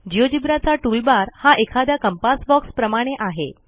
Geogebraचा toolbar हा एखाद्या compass बॉक्सप्रमाणे आहे